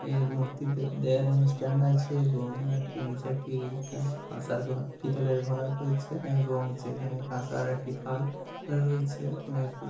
এর মূর্তি তে দেড় স্ট্যান্ড আছে এবং একটি নিচে একটি কাঁসার ঘর পিতলের ঘড়া রয়েছে এবং সেখানে কাঁসার একটি থাল রয়েছে এবং--